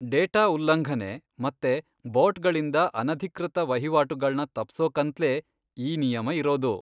Data ಉಲ್ಲಂಘನೆ ಮತ್ತೆ ಬಾಟ್ಗಳಿಂದ ಅನಧಿಕೃತ ವಹಿವಾಟುಗಳ್ನ ತಪ್ಸೋಕಂತ್ಲೇ ಈ ನಿಯಮ ಇರೋದು.